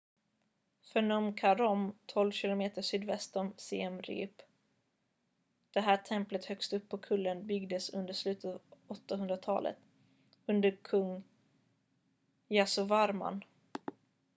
phnum kraôm 12 km sydväst om siem reap. det här templet högst upp på kullen byggdes under slutet av 800-talet under kung yasovarman